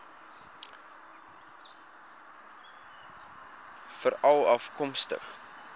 veralafkomstig